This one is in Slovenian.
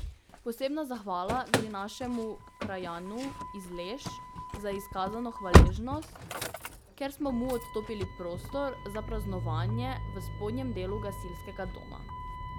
Posebna zahvala gre našemu krajanu iz Leš za izkazano hvaležnost, ker smo mu odstopili prostor za praznovanje v spodnjem delu gasilskega doma.